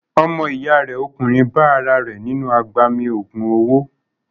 Ọmọ ìyá rẹ̀ ọkùnrin bá ara rẹ̀ nínú agbami ògùn owó.